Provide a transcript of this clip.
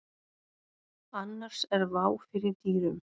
Annars er vá fyrir dyrum.